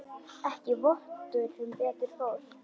Ekki vottur sem betur fór.